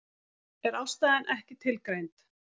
Er ástæðan ekki tilgreind